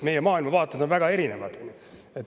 Meie maailmavaated on väga erinevad.